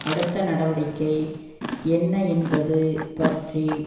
அடுத்த நடவடிக்கை என்ன என்பது பற்றி